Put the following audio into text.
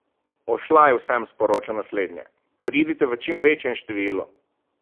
Ošlaj vsem sporoča naslednje: "Pridite v čim večjem številu.